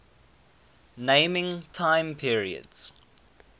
naming time periods